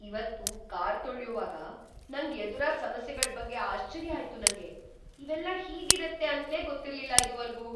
ಇವತ್ತು ಕಾರ್‌ ತೊಳ್ಯುವಾಗ ನಂಗ್‌ ಎದುರಾದ್‌ ಸಮಸ್ಯೆಗಳ್ ಬಗ್ಗೆ ಆಶ್ಚರ್ಯ ಆಯ್ತು ನಂಗೆ, ಇವೆಲ್ಲ ಹೀಗಿರತ್ತೆ ಅಂತ್ಲೇ ಗೊತ್ತಿರ್ಲಿಲ್ಲ ಇದುವರ್ಗೂ.